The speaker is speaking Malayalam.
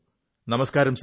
നമസ്കാരം സർ